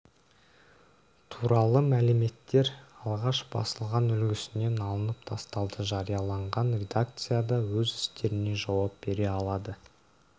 туралы мәліметтер алғаш басылған үлгісінен алынып тасталды жариялаған редакция да өз істеріне жауап бере алады